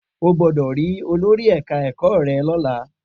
O gbọ́dọ̀ rí olórí ẹ̀ka ẹ̀kọ́ rẹ lọ́la!